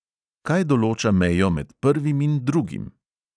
Kaj določa mejo med prvim in drugim?